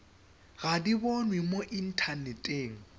ga di bonwe mo inthaneteng